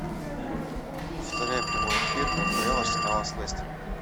повторяй прямой эфир апл арсенала с лестером